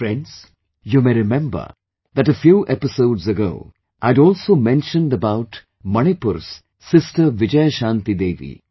Friends, you may remember that a few episodes ago I had also mentioned about Manipur's sister Vijayashanti Devi